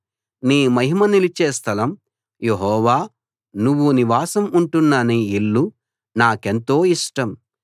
నీ మహిమ నిలిచే స్థలం యెహోవా నువ్వు నివాసం ఉంటున్న నీ ఇల్లు నాకెంతో ఇష్టం